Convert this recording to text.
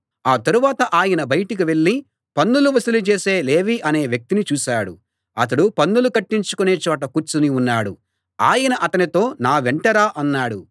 ఆ తరువాత ఆయన బయటికి వెళ్ళి పన్నులు వసూలు చేసే లేవీ అనే ఒక వ్యక్తిని చూశాడు అతడు పన్నులు కట్టించుకొనే చోట కూర్చుని ఉన్నాడు ఆయన అతనితో నా వెంట రా అన్నాడు